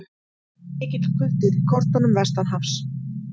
Mikill kuldi er í kortunum vestanhafs